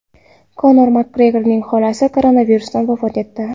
Konor Makgregorning xolasi koronavirusdan vafot etdi.